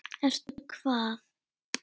Ertu hvað?